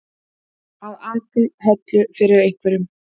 Að aka höllu fyrir einhverjum